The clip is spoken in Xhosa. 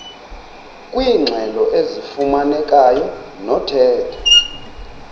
kwiingxelo ezifumanekayo nothetha